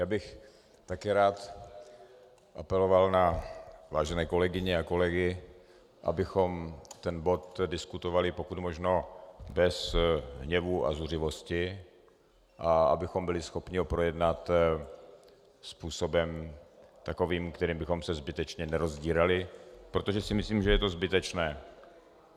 Já bych také rád apeloval na vážené kolegyně a kolegy, abychom ten bod diskutovali pokud možno bez hněvu a zuřivosti a abychom byli schopni ho projednat způsobem takovým, kterým bychom se zbytečně nerozdírali, protože si myslím, že je to zbytečné.